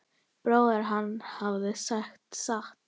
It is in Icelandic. Bróðir hans hafði sagt satt.